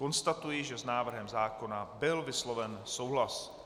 Konstatuji, že s návrhem zákona byl vysloven souhlas.